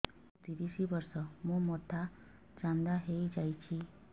ମୋ ତିରିଶ ବର୍ଷ ମୋ ମୋଥା ଚାନ୍ଦା ହଇଯାଇଛି